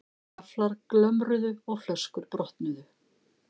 Gafflar glömruðu og flöskur brotnuðu.